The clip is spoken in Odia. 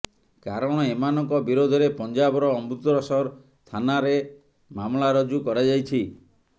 କାରଣ ଏମାନଙ୍କ ବିରୋଧରେ ପଞ୍ଜାବର ଅମୃତସର ଥାନାରେ ମାମଲା ରୁଜୁ କରାଯାଇଛି